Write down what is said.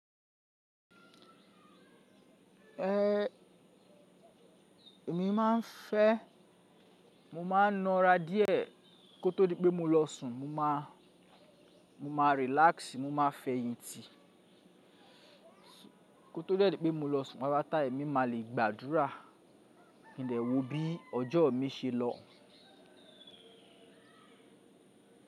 Ẹ̀, èmi máa ń fẹ́ mo máa na ara díẹ̀ kó tó di pé mo lọ sùn. Mo máa relax, mo máa fẹ̀yìntì kó tó dẹ di pé mo lọ sùn. Pápá tá à. Èmi máa le gbàdúrà, kí ń dè wò ó bí ọjọ́ mi ṣe lọ.